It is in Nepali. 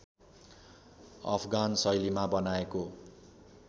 अफगान शैलीमा बनाएको